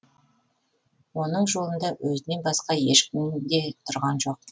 оның жолында өзінен басқа ешкім де тұрған жоқ